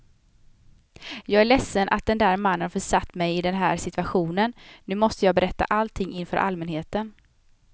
Jag är ledsen att den där mannen har försatt mig i den här situationen, nu måste jag berätta allting inför allmänheten.